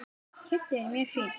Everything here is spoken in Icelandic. Kiddi er mjög fínn.